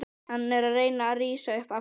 Hann er að reyna að rísa upp aftur.